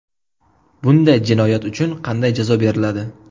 Bunday jinoyat uchun qanday jazo beriladi?